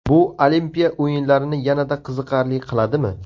Bu Olimpiya o‘yinlarini yanada qiziqarli qiladimi?